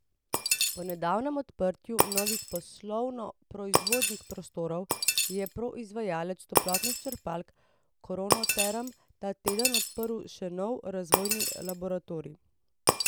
Po nedavnem odprtju novih poslovno proizvodnih prostorov je proizvajalec toplotnih črpalk Kronoterm ta teden odprl še nov razvojni laboratorij.